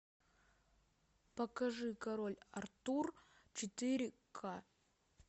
покажи король артур четыре ка